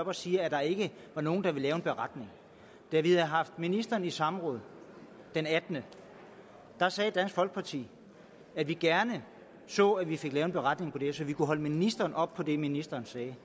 og siger at der ikke var nogen der ville lave en beretning da vi havde haft ministeren i samråd den 18 sagde dansk folkeparti at vi gerne så at vi fik lavet en beretning så vi kunne holde ministeren op på det ministeren sagde det